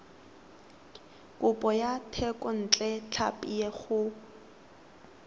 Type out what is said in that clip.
kopo ya thekontle tlhapi go